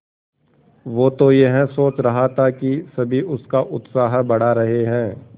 वो तो यह सोच रहा था कि सभी उसका उत्साह बढ़ा रहे हैं